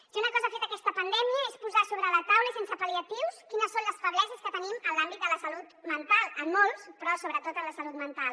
si una cosa ha fet aquesta pandèmia és posar sobre la taula i sense pal·liatius quines són les febleses que tenim en l’àmbit de la salut mental en molts però sobretot en la salut mental